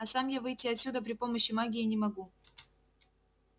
а сам я выйти отсюда при помощи магии не могу